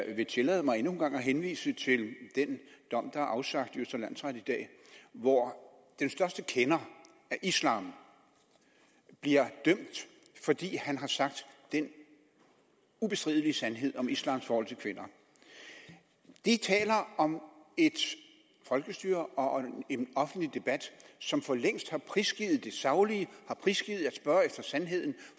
jeg vil tillade mig endnu en gang at henvise til den dom der er afsagt i østre landsret i dag hvor den største kender af islam bliver dømt fordi han har sagt den ubestridelige sandhed om islams forhold til kvinder det taler om et folkestyre og en offentlig debat som for længst har prisgivet det saglige har prisgivet at spørge efter sandheden